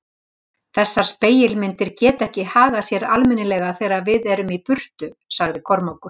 Þessar spegilmyndir geta ekki hagað sér almennilega þegar við erum í burtu, sagði Kormákur.